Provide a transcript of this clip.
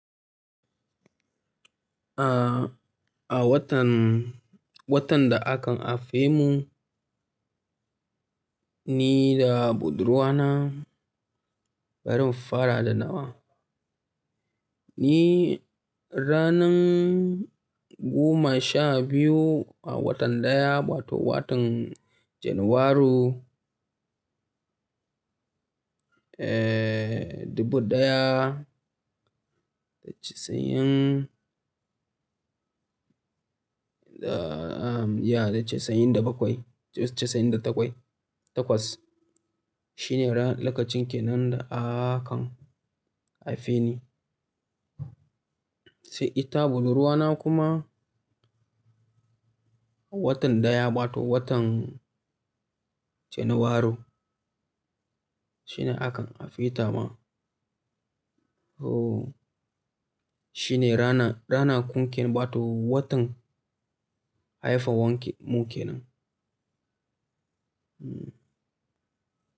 A, a watan, watan da aka haife mu ni da budurwa na barin fara da nawa. Ni ranar goma sha biyu a watan daya wato watan Janairu, eh, dubu daya da casa'in da, ya da casa'in da bakwai, casa'in da takwai, takwas. Shine ra-- lokacin kenan da aka haife ni. Sai ita budurwa na kuma a watan daya wato watan Janairu shine akan haife ta ma. Toh, shine rana, rana kunkeme wato watan haifan wanke muke nan. Hmm.